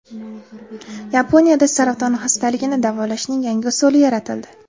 Yaponiyada saraton xastaligini davolashning yangi usuli yaratildi.